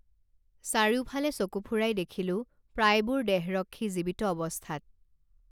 চাৰিওফালে চকু ফুৰাই দেখিলো প্ৰায়বোৰ দেহৰক্ষী জীৱিত অৱস্থাত